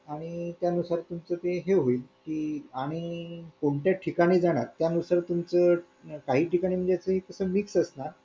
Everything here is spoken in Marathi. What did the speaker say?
आणि त्यानुसार तुमच ते ही होईल आणि कोणत्या ठिकाणी जाणार त्यानुसार तुमचं काही ठिकाणी म्हणजे असं मीच असणार